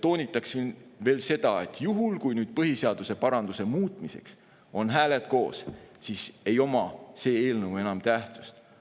Toonitan vaid veel seda, et kui põhiseaduse muutmiseks on hääled koos, siis ei oma see eelnõu enam tähtsust.